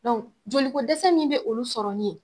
Dɔnku joliko dɛsɛ min be olu sɔrɔ nin ye